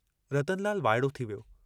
रतनलाल वाइड़ो थी वियो।